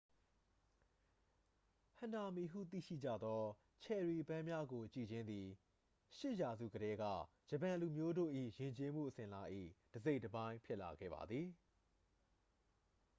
ဟနာမီ ဟုသိရှိကြသော ချယ်ရီပန်းများကို ကြည့်ခြင်းသည် 8 ရာစုကတည်းက ဂျပန်လူမျိုးတို့၏ယဉ်ကျေးမှုအစဉ်အလာ၏ တစ်စိတ်တစ်ပိုင်းဖြစ်လာခဲ့ပါသည်